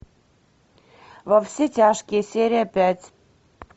во все тяжкие серия пять